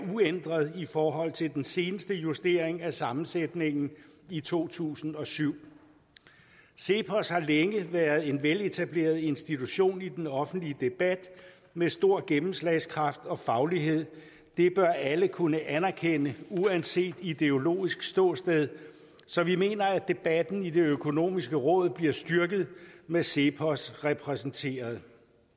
uændret i forhold til den seneste justering af sammensætningen i to tusind og syv cepos har længe været en veletableret institution i den offentlige debat med stor gennemslagskraft og faglighed det bør alle kunne anerkende uanset ideologisk ståsted så vi mener at debatten i det økonomiske råd bliver styrket med cepos repræsenteret